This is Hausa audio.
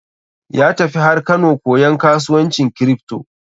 Ya tafi har Kano koyan kasuwancin kripto.